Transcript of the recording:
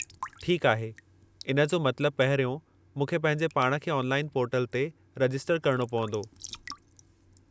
ठीकु आहे! इन जो मतलबु पहिरियों, मूंखे पंहिंजे पाण खे ऑनलाइन पोर्टल ते रजिस्टर करणो पंवदो।